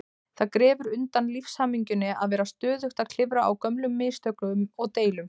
Það grefur undan lífshamingjunni að vera stöðugt að klifa á gömlum mistökum og deilum.